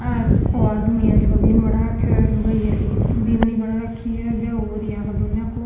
आ ओ आदमी है जैको बिंद बन रखो है लुगाई है जीकी बिननी बन राखी है ब्याह हो रियो है आ दोनों को।